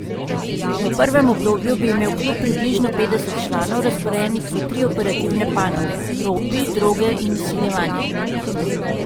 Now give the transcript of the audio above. V prvem obdobju bi imel klub približno petdeset članov, razporejenih v tri operativne panoge: 'ropi', 'droge' in 'izsiljevanje'.